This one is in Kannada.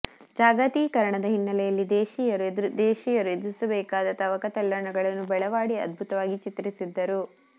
ಜಾಗತೀಕರಣದ ಹಿನ್ನೆಲೆಯಲ್ಲಿ ದೇಶೀಯರು ಎದುರಿಸಬೇಕಾದ ತವಕ ತಲ್ಲಣಗಳನ್ನು ಬೆಳವಾಡಿ ಅದ್ಭುತವಾಗಿ ಚಿತ್ರಿಸಿದ್ದರು